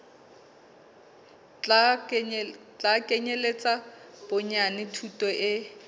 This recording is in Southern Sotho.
tla kenyeletsa bonyane thuto e